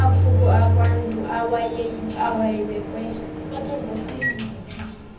amakhuko akwantu awayebekwe